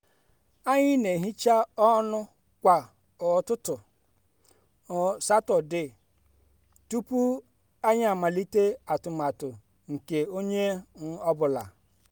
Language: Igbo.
anyị na-ehicha ọnụ kwa um ụtụtụ um satọde tupu anyị amalite atụmatụ nke onye um ọ bụla